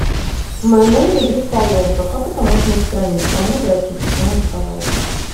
в моем номере есть поломка как это можно устранить к кому обратиться помоги пожалуйста